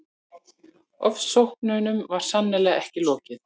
Ofsóknunum var sannarlega ekki lokið.